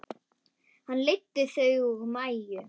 Hann leiddi Þuru og Maju.